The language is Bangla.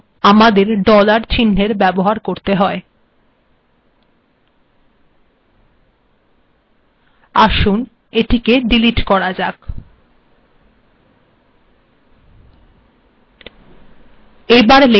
এর জন্য আগে এটিকে ডিলিট করা যাক কম্পাইল করা যাক